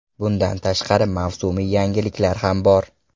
Bundan tashqari, mavsumiy yangiliklar ham bor.